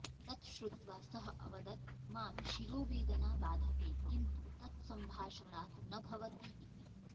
तत् श्रुत्वा सः अवदत् मां शिरोवेदना बाधते किन्तु तत् सम्भाषणात् न भवति इति